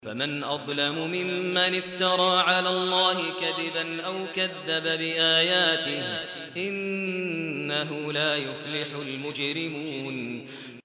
فَمَنْ أَظْلَمُ مِمَّنِ افْتَرَىٰ عَلَى اللَّهِ كَذِبًا أَوْ كَذَّبَ بِآيَاتِهِ ۚ إِنَّهُ لَا يُفْلِحُ الْمُجْرِمُونَ